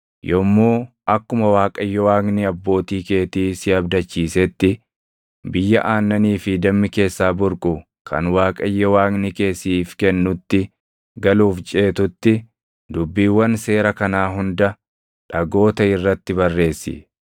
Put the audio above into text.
Yommuu akkuma Waaqayyo Waaqni abbootii keetii si abdachiisetti biyya aannanii fi dammi keessaa burqu kan Waaqayyo Waaqni kee siif kennutti galuuf ceetutti dubbiiwwan seera kanaa hunda dhagoota irratti barreessi.